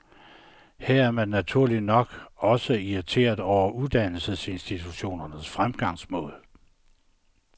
Her er man naturligt nok også irriterede over uddannelsesinstitutionernes fremgangsmåde.